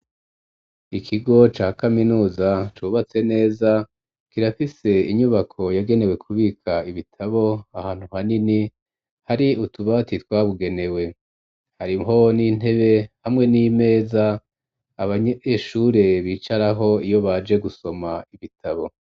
Ikigo ca kaminuza cubatse neza kirafise inyubako yagenewe ku bika ibitabo ahantu hanini hari utubati twabugenewe hariho n'intebe hamwe n'imeza abanyeshure bicaraho iyo baje gusoma ibitabo.